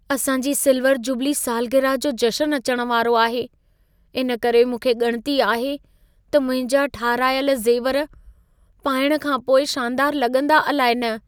असां जी silver jubilee सालग्रिह जो जशन अचण वारो आहे। इन करे मूंखे ॻणिती आहे त मुंहिंजा ठाराहियल ज़ेवर पाइण खां पोइ शानदार लॻंदा अलाइ न।